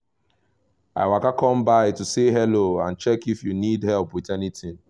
i waka come by to say hello and check if you need help with anything